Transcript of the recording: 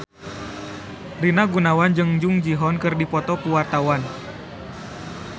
Rina Gunawan jeung Jung Ji Hoon keur dipoto ku wartawan